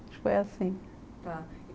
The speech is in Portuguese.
Acho que foi assim. Tá.